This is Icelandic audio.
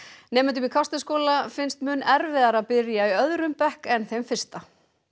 nemendum í Kársnesskóla finnst mun erfiðara að byrja í öðrum bekk en fyrsta